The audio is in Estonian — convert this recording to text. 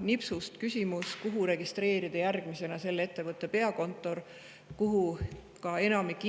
Nipsust, kus järgmisena registreerida selle ettevõtte peakontor, mille juba täna enamik